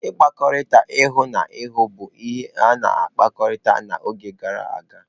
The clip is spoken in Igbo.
Nkpakọrịta ihu na ihu bụ ihe a na-ahụkarị n'oge gara aga.